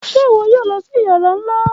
Ṣe iwọ yoo lọ si yara nla?